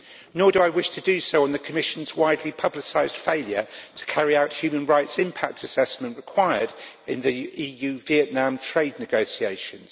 Nor do I wish to do so on the Commission's widely publicised failure to carry out the human rights impact assessment required in the EU Vietnam trade negotiations.